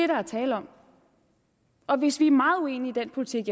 der er tale om og hvis vi er meget uenige i den politik